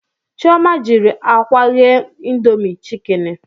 Chioma jiri akwa ghee indomie chikeni